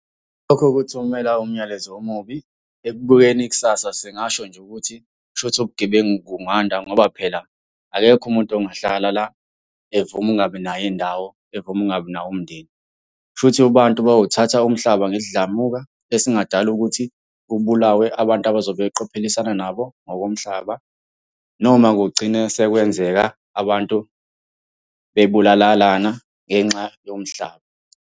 Lokho kuthumela umyalezo omubi. Ekubukeni ikusasa singasho nje ukuthi, kushuthi ubugebengu kunganda ngoba phela akekho umuntu ongahlala la evuma ukungabi nayo indawo, evuma ukungabi nawo umndeni. Kushuthi abantu bayowuthatha umhlaba ngesidlamuka esingadala ukuthi kubulawe abantu abazobe beqophelisana nabo ngokomhlaba noma kugcine sekwenzeka abantu bebulalalana ngenxa yomhlaba.